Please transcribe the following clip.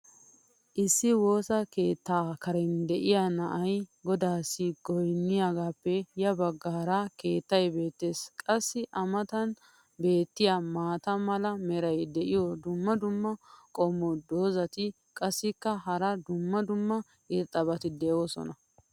Issi woossa keetta karen diya na"ay godaassi goynniyaagaappe ya bagaara keettay beetees. qassi a matan beetiya maata mala meray diyo dumma dumma qommo dozzati qassikka hara dumma dumma irxxabati doosona.